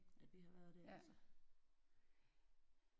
At vi har været der altså